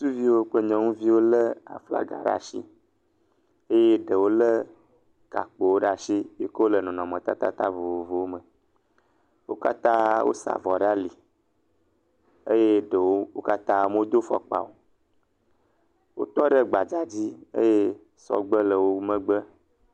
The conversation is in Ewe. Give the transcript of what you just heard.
Ŋutsuviwo kple nyɔnuviwo lé aflaga ɖe asi eye ɖewo lé gakjpowo ɖe as iyi ke wole nɔnɔmetatata vovovowo me, wo katã wosa avɔ ɖe ali, eye ɖewo, wo katã medo afɔkpa o. Wotɔ ɖe gbadzadzi eye sɔgbe le wo te.